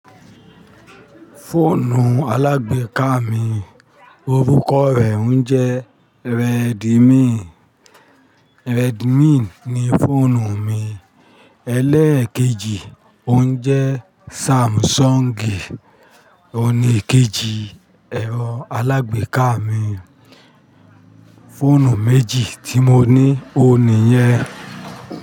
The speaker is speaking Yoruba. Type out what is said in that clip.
Fóònù alágbèéká mi orúkọ rẹ̀ ń jẹ́ Redmi. Redmi ni fọ́ònù mi ẹlẹ́ẹ̀kejì, ó ń jẹ́ Samsung. Òní kejì ẹ̀rọ alágbèéká mi, fóònù méjì tí mo ní, ó nìyẹn.